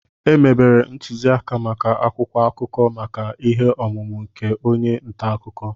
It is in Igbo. Emebere ntuziaka maka akwụkwọ akụkọ maka ihe ọmụma nke onye nta akụkọ